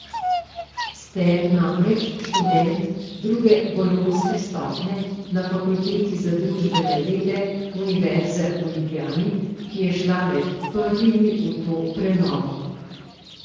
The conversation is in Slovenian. Ste namreč študent druge bolonjske stopnje na Fakulteti za družbene vede Univerze v Ljubljani, ki je šla med prvimi v to prenovo ...